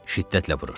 Şiddətlə vurur.